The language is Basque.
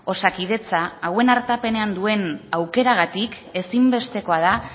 osakidetza hauen artapenean duen aukeragatik ezinbestekoa da